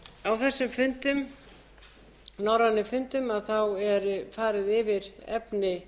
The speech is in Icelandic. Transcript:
á þessum norrænu fundum er farið yfir efni